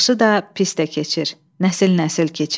Yaxşı da pis də keçir, nəsil-nəsil keçir.